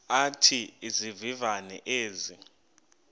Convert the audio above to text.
athi izivivane ezi